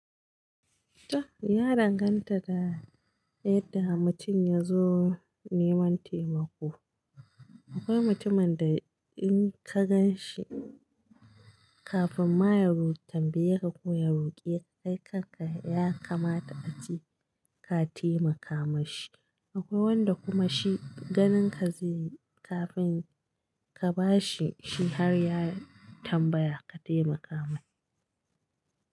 Ta ya danganta da yadda mutum ya zo neman taimako. Akwai mutumin da in ka gan shi kafin ma ya ru tambaya ko ya roƙi kai kanka ya kamata a ce ka taimaka mashi. Akwai wanda kuma shi ganin ka zai yi kafin ka ba shi shi har ya tambaya ka taimaka mai.